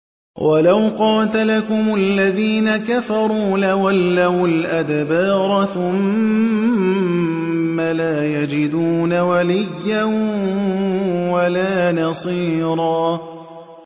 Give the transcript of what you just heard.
وَلَوْ قَاتَلَكُمُ الَّذِينَ كَفَرُوا لَوَلَّوُا الْأَدْبَارَ ثُمَّ لَا يَجِدُونَ وَلِيًّا وَلَا نَصِيرًا